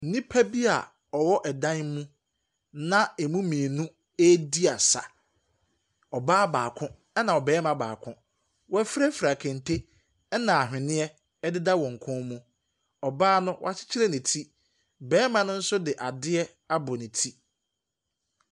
Nnipa bi a wɔwɔ ɛdan mu na ɛmu mmienu redi asa. Ɔbaa baako, ɛna cbarima baako. Wɔafirafira kente, ɛna ɛhweneɛ deda wɔn kɔn mu. Ɔbaa no, wakyekyere ne ti. Barima no nso de adeɛ apɔ ne ti.